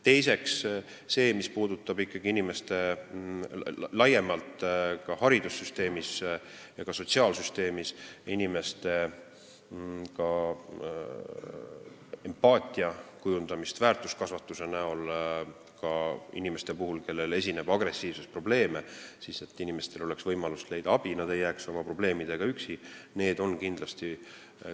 Teiseks, see, mis puudutab laiemalt haridussüsteemis ja ka sotsiaalsüsteemis inimestes empaatia kujundamist väärtuskasvatuse abil, ma räägin ka inimestest, kellel esineb agressiivsusprobleeme, siis inimestel peab olema võimalus leida abi, nad ei tohiks jääda oma probleemidega üksi.